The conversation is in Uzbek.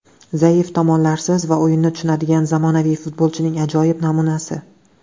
Zaif tomonlarsiz va o‘yinni tushunadigan zamonaviy futbolchining ajoyib namunasi.